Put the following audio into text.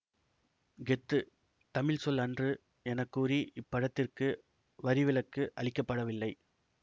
கெத்து தமிழ் சொல் அன்று என கூறி இப்படத்திற்கு வரிவிலக்கு அளிக்க படவில்லை